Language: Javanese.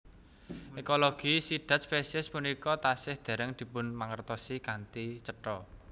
Ekologi sidhat spesies punika tasih dèrèng dipunmangertosi kanthi cetha